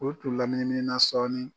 O tun lamini minina sɔɔni